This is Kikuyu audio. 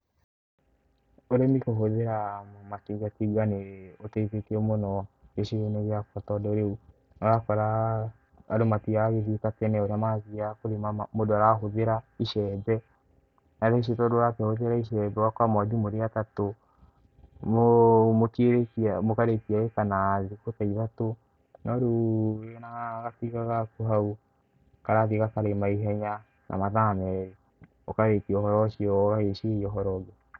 Ũrĩmĩ kũhũthĩra matingatinga ni ũteithĩtie mũno gĩcigo-ĩni gĩa kwa tondũ riu, ũrakora andũ matiragĩthie ta tene ũria mathiaga kũrĩma ma mũndũ arahũthĩra icembe, na tha ici tondũ ũrakĩhũthĩra icembe ũgakora mwathiĩ mũrĩ atatũ mũ mutĩĩrĩkia, mũkarĩkia acre na thĩkũ ta ithatũ no riũ wĩna gatinga gakũ hau karathĩe gakarĩma ihenya na mathaa merĩ ,ũkarĩkia ũhoro ũcio ũgagiciria ũhoro ũngĩ.